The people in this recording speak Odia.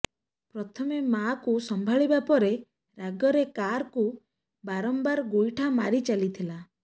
ପ୍ରଥମେ ମାକୁ ସମ୍ଭାଳିବା ପରେ ରାଗରେ କାରକୁ ବାରମ୍ବାର ଗୋଇଠା ମାରି ଚାଲିଥିଲା